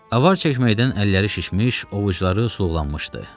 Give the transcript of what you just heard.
Avar çəkməkdən əlləri şişmiş, ovucuları sulğlanmışdı.